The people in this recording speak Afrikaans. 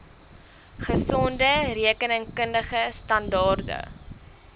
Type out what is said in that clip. gesonde rekenkundige standaarde